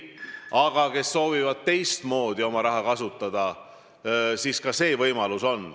Aga kes soovivad teistmoodi oma raha kasutada, siis ka see võimalus on.